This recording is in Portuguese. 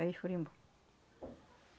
Aí eles foram embora.